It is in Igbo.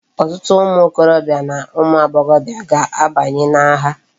Otutu umu okorobia na umu agboghobia ga abanyi na agha